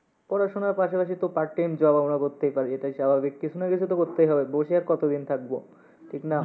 পড়াশোনার পাশাপাশি তো part time job আমরা করতেই পারি, এটাই স্বাভাবিক। কিসু না কিসু তো করতেই হবে, বসে আর কত দিন আর থাকবো ঠিক না?